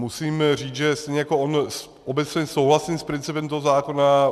Musím říct, že stejně jako on obecně souhlasím s principem toho zákona.